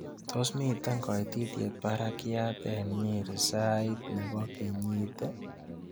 Tos' miten koititiet barakiat eng' nyeri sait ne po kenyit ii